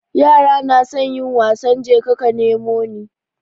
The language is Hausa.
Yara nasan yin wasan jeka ka nemo ni